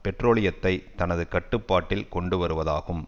பெட்ரோலியத்தை தனது கட்டுப்பாட்டில் கொண்டு வருவதாகும்